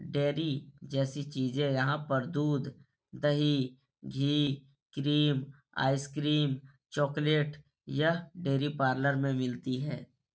Dairy जैसी चीजें यहाँ पर दूध दही घी क्रीम आइसक्रीम चॉकलेट यह डेयरी पार्लर में मिलती हैं।